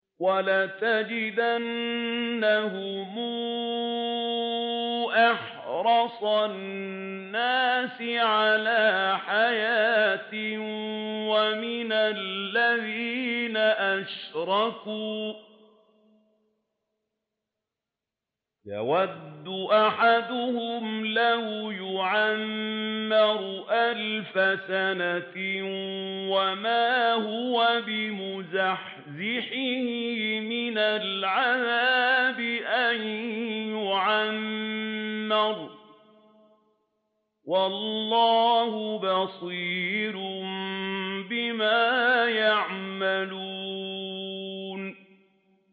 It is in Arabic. وَلَتَجِدَنَّهُمْ أَحْرَصَ النَّاسِ عَلَىٰ حَيَاةٍ وَمِنَ الَّذِينَ أَشْرَكُوا ۚ يَوَدُّ أَحَدُهُمْ لَوْ يُعَمَّرُ أَلْفَ سَنَةٍ وَمَا هُوَ بِمُزَحْزِحِهِ مِنَ الْعَذَابِ أَن يُعَمَّرَ ۗ وَاللَّهُ بَصِيرٌ بِمَا يَعْمَلُونَ